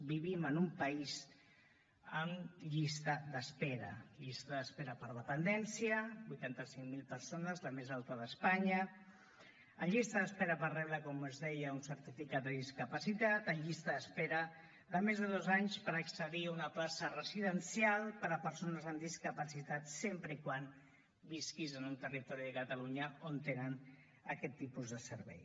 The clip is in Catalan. vivim en un país amb llista d’espera llista d’espera per dependència ochenta cinco mil persones la més alta d’espanya amb llista d’espera per rebre com els deia un certificat de discapacitat amb llista d’espera de més de dos anys per accedir a una plaça residencial per a persones amb discapacitat sempre que visquis en un territori de catalunya on tenen aquest tipus de servei